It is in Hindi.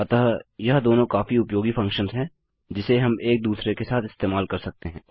अतः यह दोनों काफी उपयोगी फंक्शंस हैं जिसे हम एक दूसरे के साथ इस्तेमाल कर सकते हैं